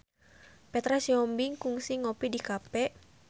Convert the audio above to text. Petra Sihombing kungsi ngopi di cafe